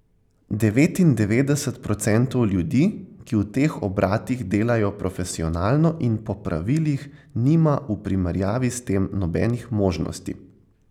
Devetindevetdeset procentov ljudi, ki v teh obratih delajo profesionalno in po pravilih nima v primerjavi s tem nobenih možnosti.